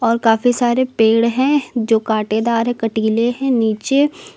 काफी सारे पेड़ हैं जो कांटेदार है कटीले हैं नीचे--